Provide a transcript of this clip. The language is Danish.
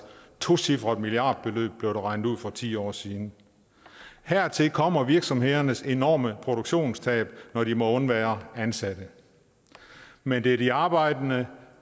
tocifret milliardbeløb blev det regnet ud til for ti år siden hertil kommer virksomhedernes enorme produktionstab når de må undvære ansatte men det er de arbejdende